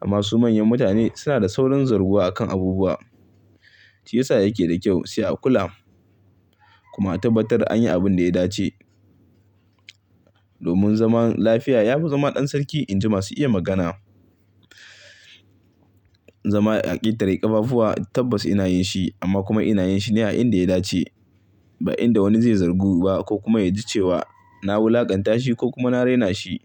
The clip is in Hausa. Amma su manyan mutane suna da saurin zarguwa akan abubuwa. Shiyasa yake da kyau sai a kula kuma a tabbatar anyi abunda ya dace. Domin zaman lafiya ya fi zama ɗan sarki in ji masu iya magana. Zama a ƙetare ƙafafuwa tabbas ina yin shi amma kuma ina yin shi ne a inda ya dace. Ba inda wani zai zargu ba ko kuma ya ji cewa na wulakanta shi ko kuma na raina shi.